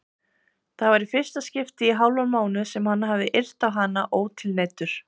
Það var í fyrsta skipti í hálfan mánuð sem hann hafði yrt á hana ótilneyddur.